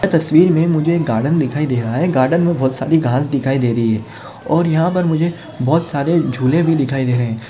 यह तस्वीर मे मुझे एक गार्डन दिखाई दे रहा है गार्डन मे बहुत सारी घास दिखाई दे रही है । और यहा पर मुझे बहुत सारे झूले भी दिखाई दे रहे है।